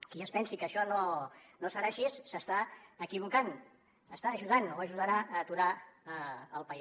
qui es pensi que això no serà així s’està equivocant està ajudant o ajudarà a aturar el país